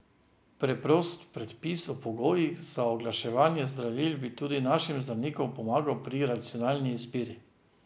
Preprost predpis o pogojih za oglaševanje zdravil bi tudi našim zdravnikom pomagal pri racionalni izbiri.